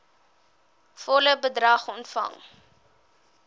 volle bedrag ontvang